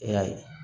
E y'a ye